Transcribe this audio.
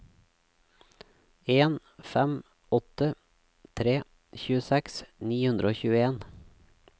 en fem åtte tre tjueseks ni hundre og tjueen